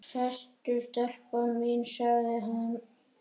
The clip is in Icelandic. Sestu telpa mín, sagði hann.